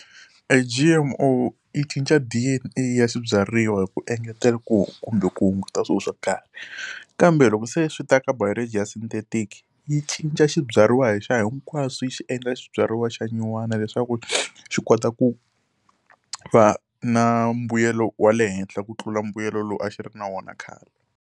E G_M_O yi cinca D_N_A ya swibyariwa hi ku engetela kumbe ku hunguta swilo swo karhi. Kambe loko se swi ta ka biology ya synthetic, yi cinca xi byariwa lexiya hinkwaxo yi xi endla swibyariwa xa nyuwana leswaku xi kota ku va na mbuyelo wa le henhla ku tlula mbuyelo lowu a xi ri na wona khale.